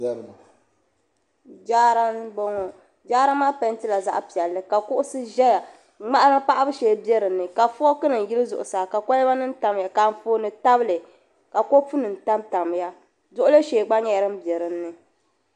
Jaara m bo ŋɔ jaara maa pɛɛntila zaɣpiɛlli ka ka kuɣusi ʒeya ŋmana paɣibu shee bɛini ka fookunim yili zuɣu saa ka kolibanim tamya ka anfooni tabili ka kopunim tamtamya duɣuli shee gba nyela din be din ni.